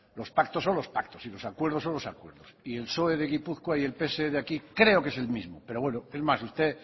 los pactos son los pactos y los acuerdos son los acuerdos y el psoe de gipuzkoa y el pse de aquí creo que es el mismo pero bueno es más usted